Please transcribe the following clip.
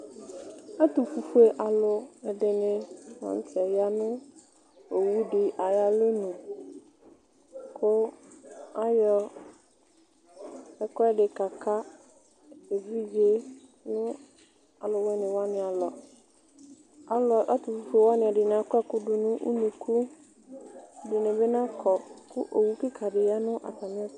Ɛtufue aluɛdini la ya nu owu di ayu alɔnu ku ayɔ ɛkuɛdi kaka evidze di nu aluwuini alɔ ɛtufue ɛdini akɔ ɛku du nu unuku ɛdini bi nakɔ ku owu kika di ya nu atamiɛtu